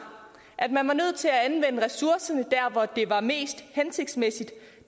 at man var nødt til at anvende ressourcerne der hvor det var mest hensigtsmæssigt